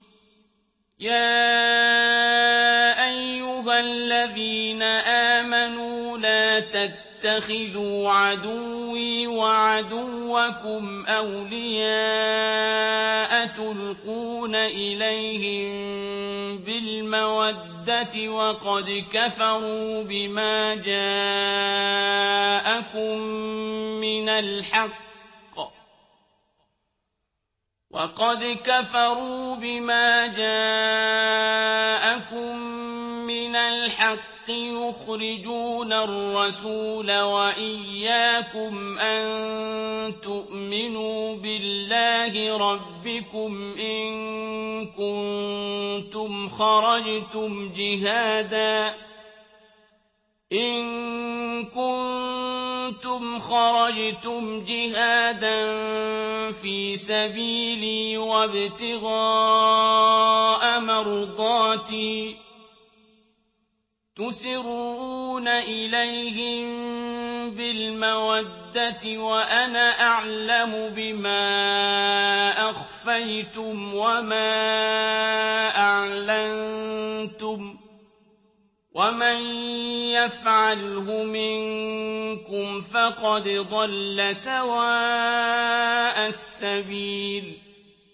يَا أَيُّهَا الَّذِينَ آمَنُوا لَا تَتَّخِذُوا عَدُوِّي وَعَدُوَّكُمْ أَوْلِيَاءَ تُلْقُونَ إِلَيْهِم بِالْمَوَدَّةِ وَقَدْ كَفَرُوا بِمَا جَاءَكُم مِّنَ الْحَقِّ يُخْرِجُونَ الرَّسُولَ وَإِيَّاكُمْ ۙ أَن تُؤْمِنُوا بِاللَّهِ رَبِّكُمْ إِن كُنتُمْ خَرَجْتُمْ جِهَادًا فِي سَبِيلِي وَابْتِغَاءَ مَرْضَاتِي ۚ تُسِرُّونَ إِلَيْهِم بِالْمَوَدَّةِ وَأَنَا أَعْلَمُ بِمَا أَخْفَيْتُمْ وَمَا أَعْلَنتُمْ ۚ وَمَن يَفْعَلْهُ مِنكُمْ فَقَدْ ضَلَّ سَوَاءَ السَّبِيلِ